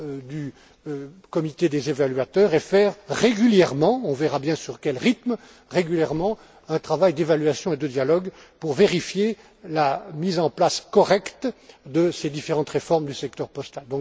du comité des évaluateurs et faire régulièrement on verra bien à quel rythme un travail d'évaluation et de dialogue pour vérifier la mise en place correcte de ces différentes réformes du secteur postal.